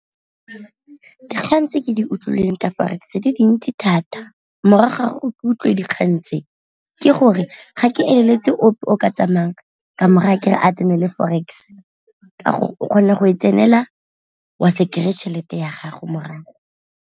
Dikgang tse ke di utlwileng ka forex tse di dintsi thata morago o ke utlwe dikgang tse, ke gore ga ke e leletse ope o ka tsamayang ka mo raya kere a tsenela forex ka gore o kgone go e tsenela wa se kry-e tšhelete ya gago morago.